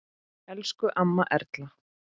Elsku amma Erla.